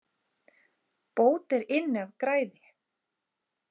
Bót er inn af græði.